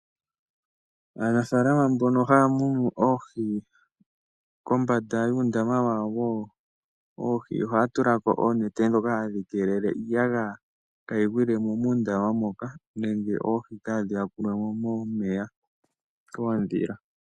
Aanafaalama mbono haya munu oohi kombanda yuundama wawo woohi ohaya tula ko oonete ndhoka hadhi keele iiyagaya kayi gwile mo muundaama moka nenge oohi kaadhi yakulwe mo momeya koondhila.